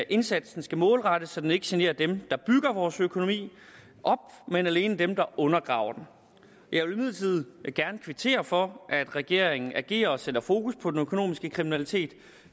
indsatsen skal målrettes så den ikke generer dem der bygger vores økonomi op men alene dem der undergraver den jeg vil imidlertid gerne kvittere for at regeringen agerer og sætter fokus på den økonomiske kriminalitet